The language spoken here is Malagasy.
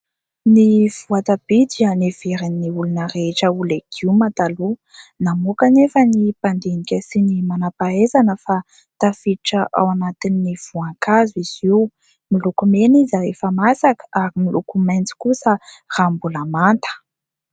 Ny voatabia dia neverin'ny olona rehetra ho legioma taloha ; namoaka anefa ny mpandinika sy ny manam-pahaizana fa tafiditra ao anatin'ny voankazo izy io, miloko mena izy rehefa masaka ary miloko maitso kosa raha mbola manta.